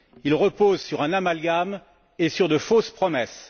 Il repose sur un amalgame et sur de fausses promesses.